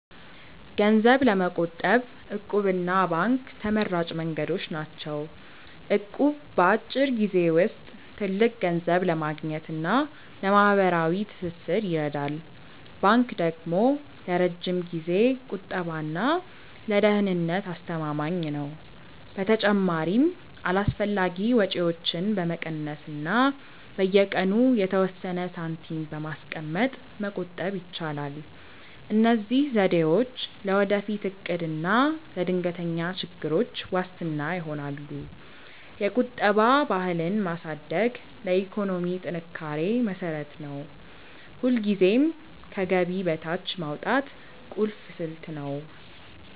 ገንዘብ ለመቆጠብ 'እቁብ' እና ባንክ ተመራጭ መንገዶች ናቸው። እቁብ በአጭር ጊዜ ውስጥ ትልቅ ገንዘብ ለማግኘት እና ለማህበራዊ ትስስር ይረዳል። ባንክ ደግሞ ለረጅም ጊዜ ቁጠባ እና ለደህንነት አስተማማኝ ነው። በተጨማሪም አላስፈላጊ ወጪዎችን በመቀነስ እና በየቀኑ የተወሰነ ሳንቲም በማስቀመጥ መቆጠብ ይቻላል። እነዚህ ዘዴዎች ለወደፊት እቅድ እና ለድንገተኛ ችግሮች ዋስትና ይሆናሉ። የቁጠባ ባህልን ማሳደግ ለኢኮኖሚ ጥንካሬ መሰረት ነው። ሁልጊዜም ከገቢ በታች ማውጣት ቁልፍ ስልት ነው።